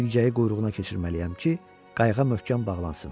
İlgəyi quyruğuna keçirməliyəm ki, qayığa möhkəm bağlansın.